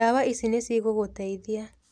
Ndawa ici nĩ cigũgũteithia.